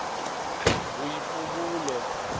boipobolo